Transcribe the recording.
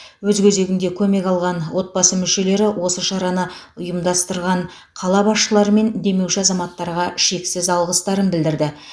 өз кезегінде көмек алған отбасы мүшелері осы шараны ұйымдастырған қала басшылары мен демеуші азаматтарға шексіз алғыстарын білдірді